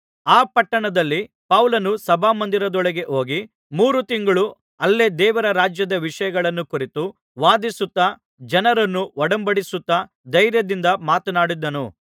ಆ ಪಟ್ಟಣದಲ್ಲಿ ಪೌಲನು ಸಭಾಮಂದಿರದೊಳಗೆ ಹೋಗಿ ಮೂರು ತಿಂಗಳು ಅಲ್ಲೇ ದೇವರ ರಾಜ್ಯದ ವಿಷಯಗಳನ್ನು ಕುರಿತು ವಾದಿಸುತ್ತಾ ಜನರನ್ನು ಒಡಂಬಡಿಸುತ್ತಾ ಧೈರ್ಯದಿಂದ ಮಾತನಾಡಿದನು